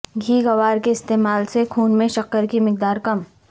گھیگوار کے استعمال سے خون میں شکر کی مقدار کم